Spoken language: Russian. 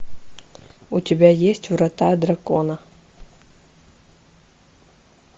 у тебя есть врата дракона